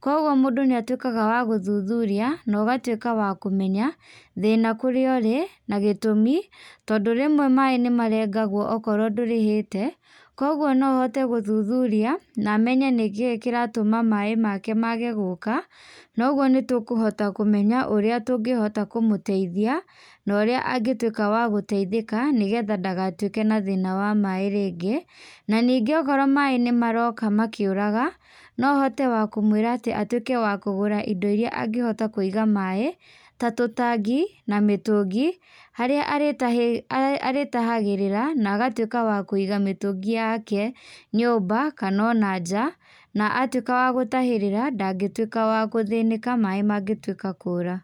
Koguo mũndu nĩ atuĩkaga wa gũthuthuria na ũgatuĩka wa kũmenya thĩna kũrĩa ũrĩ na gĩtũmi, tondũ rĩmwe maaĩ nĩ marengagwo okorwo ndũrĩhĩte. Koguo no hote gũthuthuria na menye nĩ kĩĩ kĩratũma maaĩ make mage gũka. Na ũguo nĩ tũkũhota kũmenya ũrĩa tũngĩhota kũmũteithia na ũrĩa angĩtuĩka wa gũteithĩka nĩgetha ndagatuĩke na thĩna wa maaĩ rĩngĩ. Na ningĩ okorwo maaĩ nĩ maroka makĩũraga, no hote wa kũmũĩra atĩ atuĩke wa kũgũra indo iria angĩhota kũiga maaĩ ta tũ tangi, na mĩtũngi, harĩa arĩtahagĩrĩra na agatuĩka wa kũiga mĩtũngi yake nyũmba kana o na nja. Na a tuĩka wa gũtahĩrĩra, ndangĩtuĩka wa gũthĩnĩka, maaĩ mangĩtuĩka kũra.